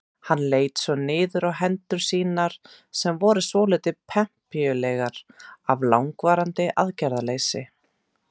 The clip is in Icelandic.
Hann leit niður á hendur sínar sem voru svolítið pempíulegar af langvarandi aðgerðarleysi.